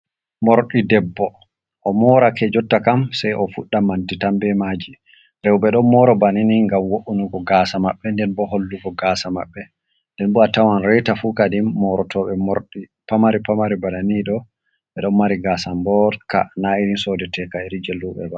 Moorɗi debbo, o morake, jotta kam sey o fuɗɗa manti tan be maaji. Rowɓe ɗon mooro bana ni, ngam wo''ungo gaasa maɓɓe, nden bo hollugo gaasa maɓɓe. Nden bo a tawan reeta fu, kadin moorotoɓe moorɗi pamari pamari bana ni ɗo, ɓe ɗon mari gaasa mbooɗka, na irin soodoteka, iri jey luuɓe ba.